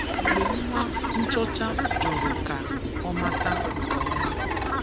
Mgbe nwa nchọcha jụrụ ka ọ mata nke ọma